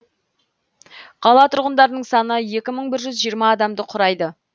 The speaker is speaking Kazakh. қала тұрғындарының саны екі мың бір жүз жиырма адамды құрайды